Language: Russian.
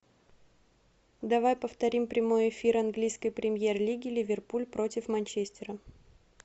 давай повторим прямой эфир английской премьер лиги ливерпуль против манчестера